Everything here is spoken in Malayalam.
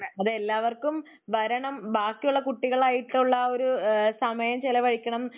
അതെ എല്ലാവർക്കും വരണം ബാക്കിയുള്ള കുട്ടികളായിട്ടുള്ള ഒരു സമയം ചെലവഴിക്കണം.